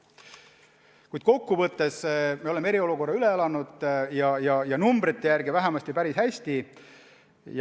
Kuid kokkuvõttes me oleme eriolukorra üle elanud ja numbrite järgi otsustades päris hästi.